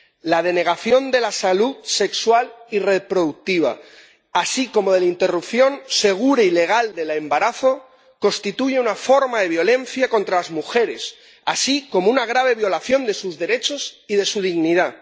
La denegación de la salud sexual y reproductiva así como la interrupción segura y legal del embarazo constituyen una forma de violencia contra las mujeres, así como una grave violación de sus derechos y de su dignidad.